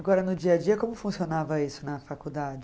Agora, no dia a dia, como funcionava isso na faculdade?